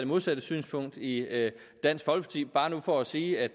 modsatte synspunkt i dansk folkeparti bare for at sige at